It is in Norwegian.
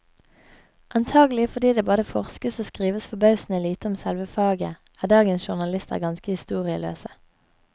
Antagelig fordi det både forskes og skrives forbausende lite om selve faget, er dagens journalister ganske historieløse.